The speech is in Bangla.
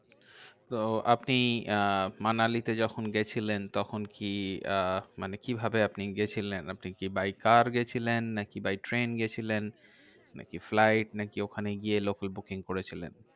তো আপনি আহ মানালিতে যখন গেছিলেন, তখন কি আহ মানে কিভাবে আপনি গেছিলেন? আপনি কি by car গেছিলেন? নাকি by ট্রেন গেছিলেন? নাকি flight? নাকি ওখানে গিয়ে local booking করেছিলেন?